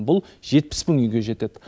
бұл жетпіс мың үйге жетеді